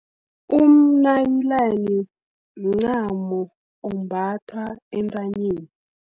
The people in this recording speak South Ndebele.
Umnayilani, mncamo ombatha entanyeni.